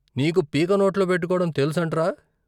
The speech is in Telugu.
నీకు పీక నోట్లో పెట్టుకోవటం తెలుసంట్రా?